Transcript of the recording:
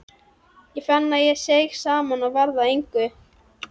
Ég fann að ég seig saman og varð að engu.